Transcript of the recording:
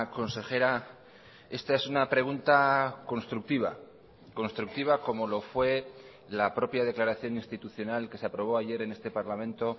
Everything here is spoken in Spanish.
consejera esta es una pregunta constructiva constructiva como lo fue la propia declaración institucional que se aprobó ayer en este parlamento